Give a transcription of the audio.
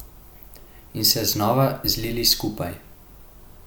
In se znova zlili skupaj.